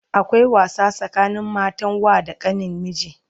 akwai wasa tsakanin matan wa da kanin miji